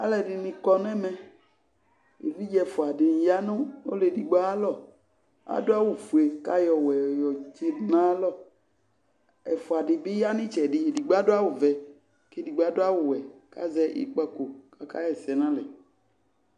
Alʋ ɛdɩnɩ kɔ nʋ ɛmɛ evidze ɛfʋa dɩnɩ ya nʋ ɔlʋ edigbo ayʋ alɔ adʋ awʋ ofue kʋ ayɔ ɔwɛ yɔtsɩdʋ nʋ ayalɔ ɛfʋa dɩ bɩ ya nʋ ɩtsɛdɩ edigbo adʋ awʋvɛ kʋ edigbo adʋ awʋwɛ kʋ azɛ ikpǝko kʋ akaɣa ɛsɛ nʋ alɛ